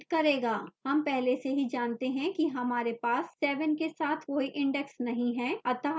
हम पहले से ही जानते हैं कि हमारे पास 7 के साथ कोई index नहीं है अतः यह कुछ भी print नहीं करेगा